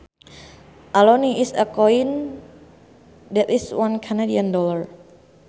A loonie is a coin that is one Canadian dollar